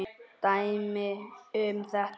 Dæmi um þetta